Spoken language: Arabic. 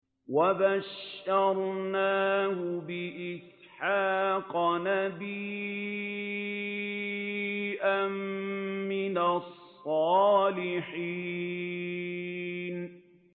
وَبَشَّرْنَاهُ بِإِسْحَاقَ نَبِيًّا مِّنَ الصَّالِحِينَ